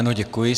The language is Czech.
Ano, děkuji.